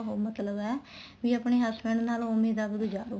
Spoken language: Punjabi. ਉਹ ਮਤਲਬ ਹੈ ਵੀ ਆਪਣੇ husband ਨਾਲ ਉਵੇ ਦਾ ਗੁਜਾਰੋ